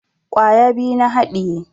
Kwaya biyu na haɗiye